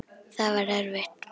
Það var erfitt.